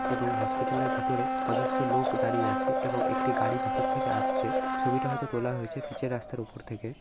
এবং হসপিটাল -এর ভিতরে অজস্র লোক দাঁড়িয়ে আছে। এবং একটি গাড়ি ভিতর থেকে আসছে ছবিটা হয়তো তোলা হয়েছে পিচ -এর রাস্তার উপর থেকে।